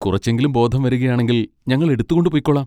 കുറച്ചെങ്കിലും ബോധം വരുകയാണെങ്കിൽ, ഞങ്ങൾ എടുത്തുകൊണ്ട് പൊയ്ക്കോളാം.